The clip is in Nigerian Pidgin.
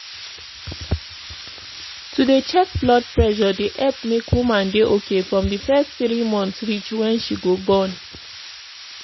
to dey check blood pressure dey epp make woman dey ok from di fess tiri months reach wen she go born.